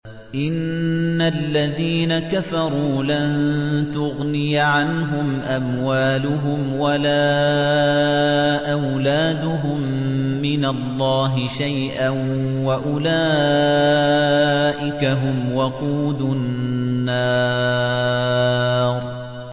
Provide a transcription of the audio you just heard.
إِنَّ الَّذِينَ كَفَرُوا لَن تُغْنِيَ عَنْهُمْ أَمْوَالُهُمْ وَلَا أَوْلَادُهُم مِّنَ اللَّهِ شَيْئًا ۖ وَأُولَٰئِكَ هُمْ وَقُودُ النَّارِ